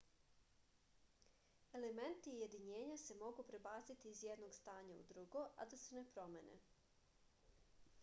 elementi i jedinjenja se mogu prebaciti iz jednog stanja u drugo a da se ne promene